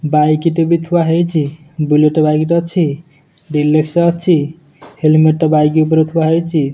Bike ଟେ ବି ଥୁଆ ହେଇଛି। ବୁଲେଟ ବାଇକ୍ ଟେ ଅଛି। ଅଛି। ହେଲମେଟେ ବାଇକ୍ ଉପରେ ଥୁଆ ହେଇଛି।